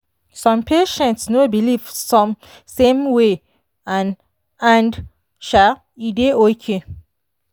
some patients no believe same way and and um e dey okay.